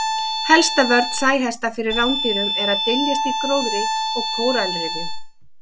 Helsta vörn sæhesta fyrir rándýrum er að dyljast í gróðri og kóralrifjum.